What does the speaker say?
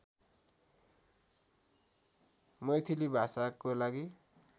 मैथिली भाषाको लागि